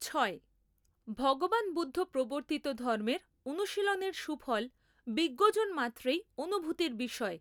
ছয়। ভগবান বুদ্ধ প্রবর্তিত ধর্মের অনুশীলনের সুফল বিজ্ঞজন মাত্রেই অনুভূতির বিষয়।